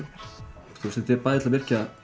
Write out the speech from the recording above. þetta er bæði til að virkja